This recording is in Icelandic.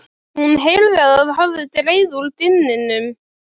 Hún heyrði að það hafði dregið úr dyninum.